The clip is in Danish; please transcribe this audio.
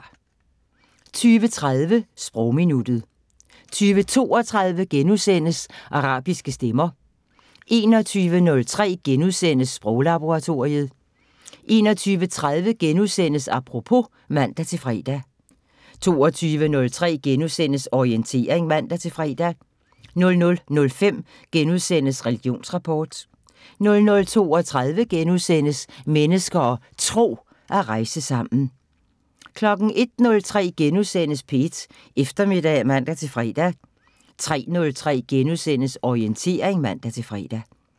20:30: Sprogminuttet 20:32: Arabiske stemmer * 21:03: Sproglaboratoriet * 21:30: Apropos *(man-fre) 22:03: Orientering *(man-fre) 00:05: Religionsrapport * 00:32: Mennesker og Tro: At rejse sammen * 01:03: P1 Eftermiddag *(man-fre) 03:03: Orientering *(man-fre)